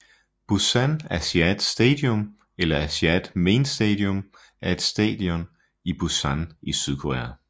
Busan Asiad Stadium eller Asiad Main Stadium er et stadion i Busan i Sydkorea